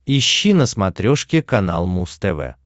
ищи на смотрешке канал муз тв